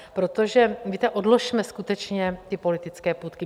Protože víte, odložme skutečně ty politické půtky.